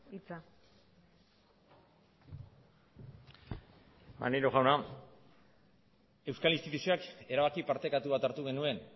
hitza maneiro jauna euskal instituzioak erabaki partekatu bat hartu genuen